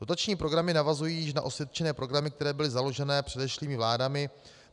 Dotační programy navazují již na osvědčené programy, které byly založeny předešlými vládami.